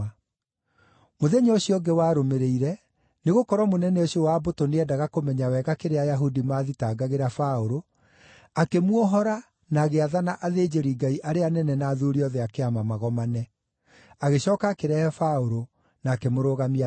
Mũthenya ũcio ũngĩ warũmĩrĩire, nĩgũkorwo mũnene ũcio wa mbũtũ nĩeendaga kũmenya wega kĩrĩa Ayahudi maathitangagĩra Paũlũ, akĩmuohora na agĩathana athĩnjĩri-Ngai arĩa anene na athuuri othe a Kĩama magomane. Agĩcooka akĩrehe Paũlũ, na akĩmũrũgamia mbere yao.